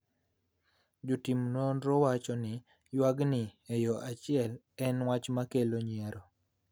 Jotim nonro wacho ni ywakni e yo achiel en wach ma kelo nyiero